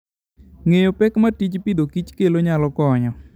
Ng'eyo pek ma tij pidhokich kelo nyalo konyo.